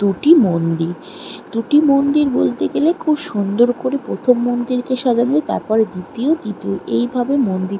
দুটি - ই মন্দির দুটি মন্দির বলতে গেলে খুব সুন্দর করে প্রথম মন্দির কে সাজালে তারপর এ দ্বিতীয় তৃতীয় এইভাবে মন্দির।